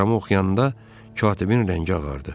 Teleqramı oxuyanda katibin rəngi ağardı.